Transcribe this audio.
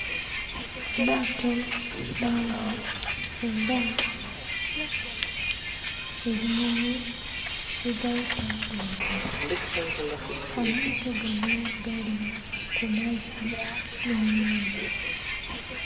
Amaato mangi era ebinyonyi bigayita waggulu. Amaato gano gali ku mazzi n'ennyanja.